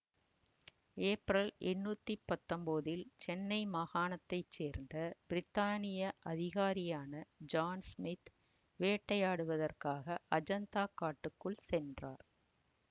April எண்ணூத்தி பத்தொன்போதில் சென்னை மாகாணத்தைச்சேர்ந்த பிரித்தானிய அதிகாரியான ஜான் ஸ்மித் வேட்டையாடுவதற்காக அஜந்தா காட்டுக்குள் சென்றார்